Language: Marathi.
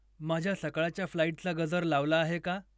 माझ्या सकाळच्या फ्लाइटचा गजर लावला आहे का?